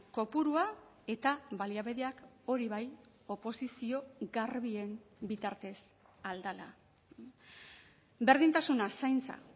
kopurua eta baliabideak hori bai oposizio garbien bitartez ahal dela berdintasuna zaintza